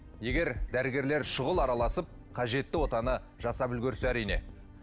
егер дәрігерлер шұғыл араласып қажетті отаны жасап үлгерсе әрине